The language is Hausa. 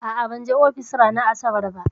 A'a, ban je ofis ranar asabar ba.